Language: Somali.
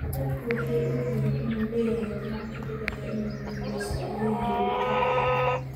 “Dadku waxay ogyihiin inuu leeyahay dhinac ka dhigaya inuu guuleysto,” ayuu yiri Lukaku.